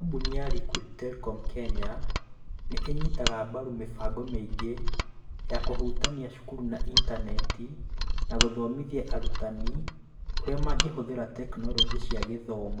Kambuni ya Liquid Telecom Kenya nĩ ĩnyitaga mbaru mĩbango mĩingĩ ya kũhutania cukuru na intaneti, na gũthomithia arutani ũrĩa mangĩhũthĩra tekinoronjĩ cia gĩthomo.